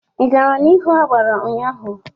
Ị gara n'ihu agbara ụnyaahụ?